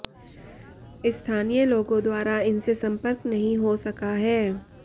स्थानीय लोगों द्वारा इनसे संपर्क नहीं हो सका है